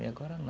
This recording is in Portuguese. E agora não.